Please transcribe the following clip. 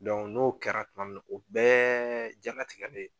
n'o kɛra tuma min na o bɛɛ janatigɛ de ye.